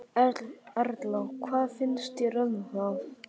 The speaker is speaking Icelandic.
Erla: Hvað finnst þér um það?